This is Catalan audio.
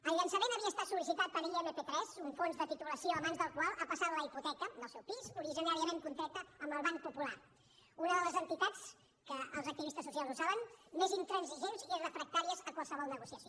el llançament havia estat sol·licitat per imp tres un fons de titulització a mans del qual ha passat la hipoteca del seu pis originàriament contreta amb el banc popular una de les entitats els activistes socials ho saben més intransigent i refractàries a qualsevol negociació